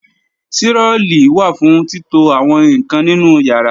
Tirọlí wà fún títo àwọn ǹkan nínú ìyàrá